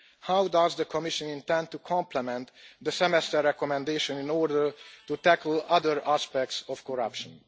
How does the Commission intend to complement the Semester recommendation in order to tackle other aspects of corruption?